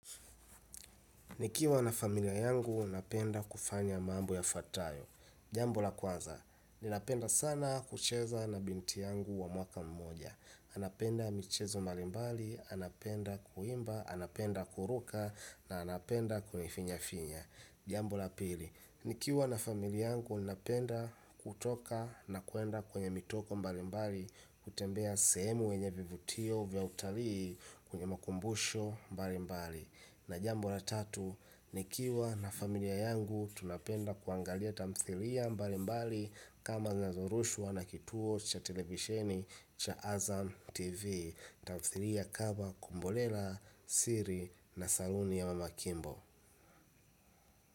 Nikiwa na familia yangu napenda kufanya mambo ya fatayo jambo la kwaza ninapenda sana kucheza na binti yangu wa mwaka mmoja anapenda michezo mbalimbali, anapenda kuimba, anapenda kuruka na anapenda kuni finya finya jambo la pili nikiwa na familia yangu napenda kutoka na kwenda kwenye mitoko mbalimbali kutembea sehemu yenye vivutio vya utalii kwenye makumbusho mbalimbali na jambo la tatu nikiwa na familia yangu tunapenda kuangalia tamthilia mbalimbali kama zinazo rushwa na kituo cha televisheni cha azam tv tamthilia kama kombolela Siri na saluni ya mama Kimbo.